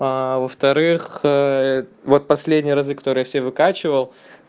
во-вторых вот последние разы которые я все выкачивал